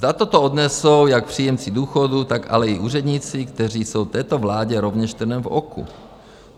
Zda toto odnesou jak příjemci důchodů, tak ale i úředníci, kteří jsou této vládě rovněž trnem v oku?